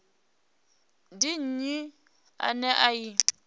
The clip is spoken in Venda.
ndi nnyi ane a i